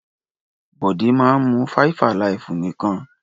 Bọ̀dé máa ń mu 5-alive nìkan.